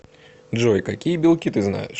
джой какие белки ты знаешь